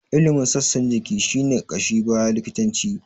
Ilimin sassan jiki shi ne ƙashin baya likitanci.